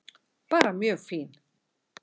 Bara mjög fín.